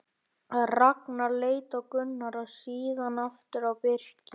Ragnar leit á Gunnar og síðan aftur á Birki.